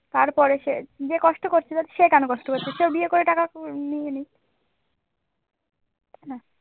তারপরে সে নিজে কষ্ট করছে সে কেন কষ্ট করছে সেও বিয়ে করে টাকা নিয়ে নিক।